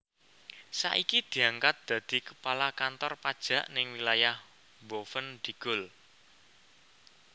Saiki diangkat dadi kepala kantor pajak ning wilayah Boven Digul